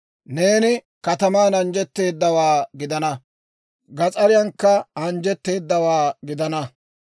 «Neeni kataman anjjetteedawaa gidanawaa; gas'ariyankka anjjetteedawaa gidanawaa.